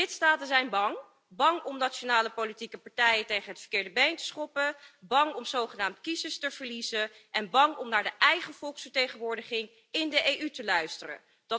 Maar de lidstaten zijn bang bang om nationale politieke partijen tegen het verkeerde been te schoppen, bang om zogenaamd kiezers te verliezen en bang om naar de eigen volksvertegenwoordiging in de EU te luisteren.